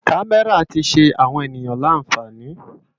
Kàmèrá ti ṣé áwòn éniyàn lànfáni